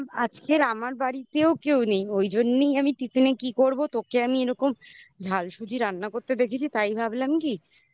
আজকের আমার বাড়িতেও কেউ নেই ওই জন্যই আমি tiffin নে কি করবো তোকে আমি এরকম ঝাল সুজি রান্না করতে দেখেছি তাই ভাবলাম কি